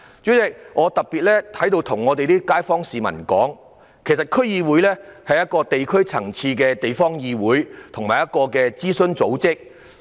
主席，我想特別在此告訴我所屬選區的市民，區議會是地區層次的地方議會和諮詢組織。